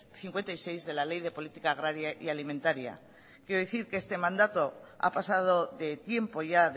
cincuenta y seis de la ley de política agraria y alimentaria quiero decir que este mandato ha pasado de tiempo ya